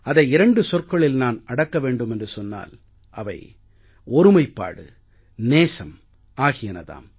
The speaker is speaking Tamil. அதை இரண்டு சொற்களில் நான் அடக்க வேண்டும் என்று சொன்னால் அவை ஒருமைப்பாடு நேசம் ஆகியன தாம்